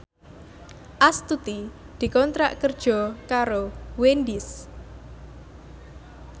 Astuti dikontrak kerja karo Wendys